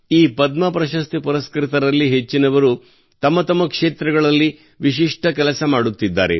ಈ ಪದ್ಮ ಪ್ರಶಸ್ತಿ ಪುರಸ್ಕೃತರಲ್ಲಿ ಹೆಚ್ಚಿನವರು ತಮ್ಮ ತಮ್ಮ ಕ್ಷೇತ್ರಗಳಲ್ಲಿ ವಿಶಿಷ್ಟ ಕೆಲಸ ಮಾಡುತ್ತಿದ್ದಾರೆ